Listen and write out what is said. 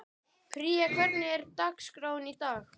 Pría, hvernig er dagskráin í dag?